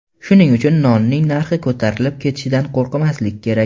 Shuning uchun nonning narxi ko‘tarilib ketishidan qo‘rqmaslik kerak.